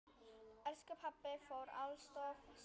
Elsku pabbi fór alltof snemma.